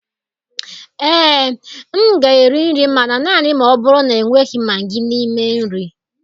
Ee, m ga-eri nri, mana naanị ma ọ bụrụ na enweghị Maagị n'ime nri.